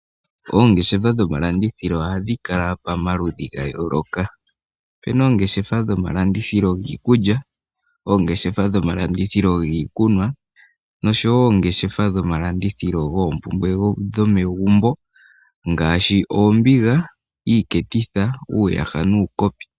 Oongeshefa dhomalandithilo ohadhi kala pa maludhi ga yooloka. Opuna oongeshefa dhomalandithilo giikulya, oongeshefa dhomalandithilo giikunwa, noshowo oongeshefa dhomalandithilo goompumbwe dhomegumbo, ngaashi oombiga, iiketitha, uuyaha nuukopi.